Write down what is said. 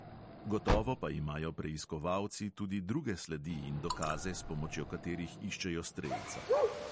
Gotovo pa imajo preiskovalci tudi druge sledi in dokaze, s pomočjo katerih iščejo strelca.